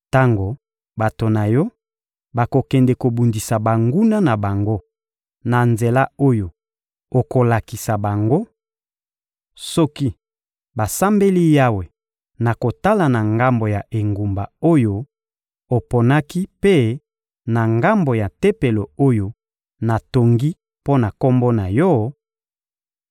Tango bato na Yo bakokende kobundisa banguna na bango na nzela oyo okolakisa bango, soki basambeli Yawe na kotala na ngambo ya engumba oyo oponaki mpe na ngambo ya Tempelo oyo natongi mpo na Kombo na Yo,